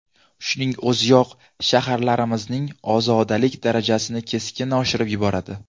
Shuning o‘ziyoq shaharlarimizning ozodalik darajasini keskin oshirib yuboradi.